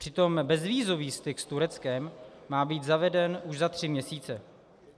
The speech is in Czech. Přitom bezvízový styk s Tureckem má být zaveden už za tři měsíce.